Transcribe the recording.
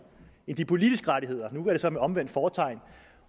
end de politiske rettigheder nu er det så med omvendt fortegn